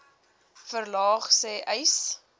verlaag sê uys